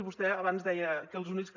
vostè abans deia que els únics que